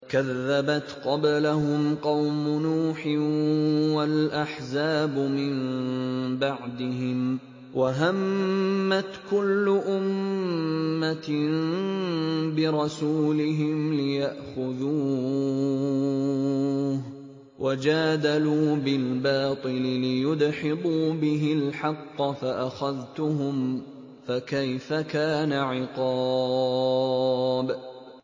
كَذَّبَتْ قَبْلَهُمْ قَوْمُ نُوحٍ وَالْأَحْزَابُ مِن بَعْدِهِمْ ۖ وَهَمَّتْ كُلُّ أُمَّةٍ بِرَسُولِهِمْ لِيَأْخُذُوهُ ۖ وَجَادَلُوا بِالْبَاطِلِ لِيُدْحِضُوا بِهِ الْحَقَّ فَأَخَذْتُهُمْ ۖ فَكَيْفَ كَانَ عِقَابِ